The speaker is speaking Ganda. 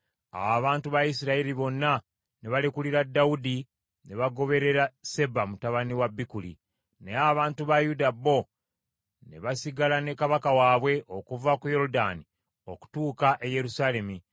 Awo abantu ba Isirayiri bonna ne balekulira Dawudi ne bagoberera Seba mutabani wa Bikuli. Naye abantu ba Yuda bo ne basigala ne kabaka waabwe, okuva ku Yoludaani okutuuka e Yerusaalemi.